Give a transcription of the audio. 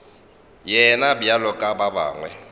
yena bjalo ka ba bangwe